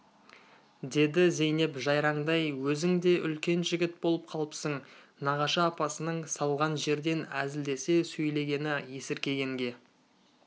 деді зейнеп жайраңдай өзің де үлкен жігіт болып қалыпсың нағашы апасының салған жерден әзілдесе сөйлегені есіркегенге